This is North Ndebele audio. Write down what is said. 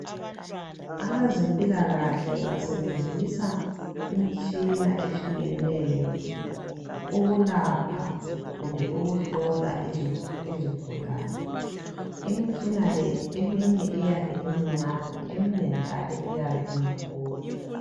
Abazemphilakahle basebenzisa imitshina ehlukeneyo, ukulapha kumbe ukuhlola izigulane. Imitshina le eminye iyabe umncane, Iminye njalo iyabe imikhulu.